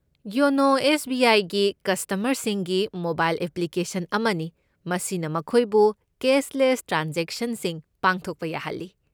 YONO ꯑꯁꯤ S. B. I. ꯒꯤ ꯀꯁꯇꯃꯔꯁꯤꯡꯒꯤ ꯃꯣꯕꯥꯏꯜ ꯑꯦꯄ꯭ꯂꯤꯀꯦꯁꯟ ꯑꯃꯅꯤ, ꯃꯁꯤꯅ ꯃꯈꯣꯏꯕꯨ ꯀꯦꯁꯂꯦꯁ ꯇ꯭ꯔꯥꯟꯖꯦꯛꯁꯟꯁꯤꯡ ꯄꯥꯡꯊꯣꯛꯄ ꯌꯥꯍꯜꯂꯤ꯫